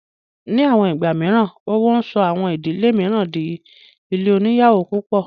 Ní àwọn ìgbà mìíràn, owó ń sọ àwọn ìdílé mìíràn dí ilé oníyàwó púpọ̀